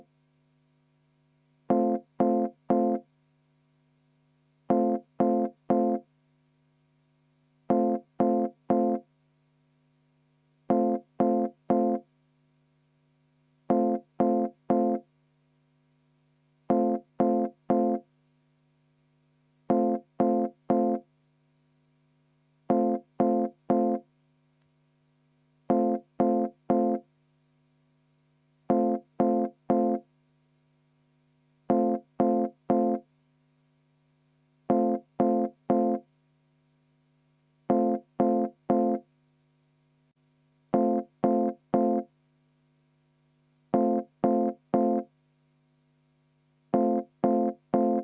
Vaheaeg 10 minutit.